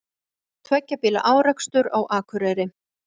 Tveggja bíla árekstur á Akureyri